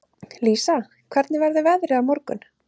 Lísa, hvernig verður veðrið á morgun?